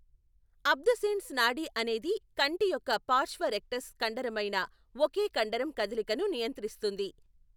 Abducens నాడి అనేది కంటి యొక్క పార్శ్వ రెక్టస్ కండరమైన ఒకే కండరం కదలికను నియంత్రిస్తుంది.